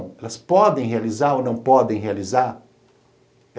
Elas podem realizar ou não podem realizar?